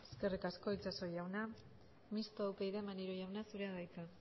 eskerrik asko itxaso jauna mistoa upyd maneiro jauna zurea da hitza